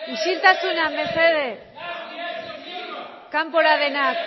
isiltasuna mesedez kanpora denak